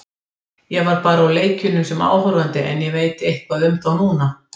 Ég var bara á leikjunum sem áhorfandi en ég veit eitthvað um þá núna.